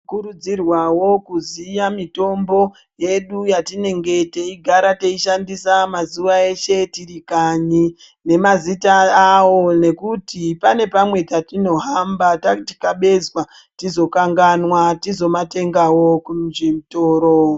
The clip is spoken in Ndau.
Tinokurudzirwavo kuziya mitombo yedu yetinonga teigara teishandisa mazuva eshe tirikanyi nemazita avo. Nekuti pane pamwe patinohamba tatikabezwa tizokanganwa tizomatengavo kuzvitoro.